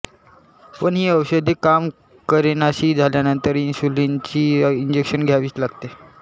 पण ही औषधे काम करेेनाशी झाल्यानंतर इन्शुलिनची इंजेक्शने घ्यावीच लागतात